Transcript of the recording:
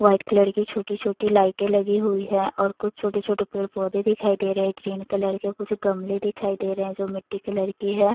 White colour की छोटी-छोटी लाइटें लगी हुई हैं और कुछ छोटे-छोटे पेड़-पौधे दिखाई दे रहे हैं ग्रीन कलर के कुछ गमले दिखाई दे रहे हैं जो मिट्टी कलर की है।